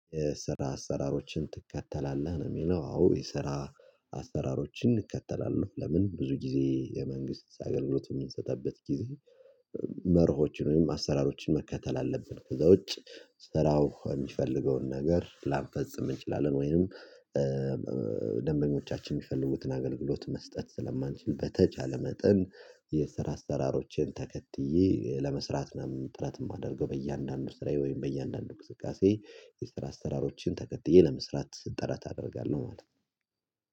የስራ አሰራሮችን ትከተላለህ ነው የሚለ፤ አዎ፣ የስራ አሰራሮችን እንከተላለሁ፤ ለምን ብዙ ጊዜ የመንግስት አገልግሎት የምንሰጥበት ጊዜ መርሆችን ወይም አሰራሮችን መከተል አለብን፤ ከዛ ውጪ ስራው የሚፈልገውን ነገር ላንፈጽም እንችላለን ወይንም ደንበኞቻችን የሚፈልጉትን አገልግሎት መስጠት ስለማንችል በተቻለ መጠን የስራ አሰራሮቼን ተከትዬ ለመስራትም ጥረት የማደርገው፤ በእያንዳንዱ ስራዬ ወይም በእያንዳንዱ ቅስቀሴ የስራ አሰራሮችን ተከትዬ ለመስራት ጥረት አደርጋለህ ማለት ነው።